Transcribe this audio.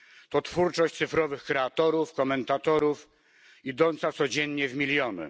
To twórczość cyfrowych kreatorów, komentatorów, idąca codziennie w miliony.